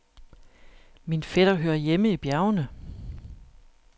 Min fætter hører hjemme i bjergene.